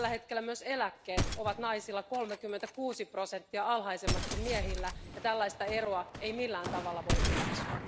Tällä hetkellä myös eläkkeet ovat naisilla 36 prosenttia alhaisemmat kuin miehillä eikä tällaista eroa voi millään tavalla hyväksyä.